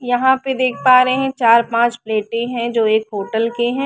यहाँ पे देख पा रहे हैं चार पांच प्लेट्स है जो एक होटल के हैं।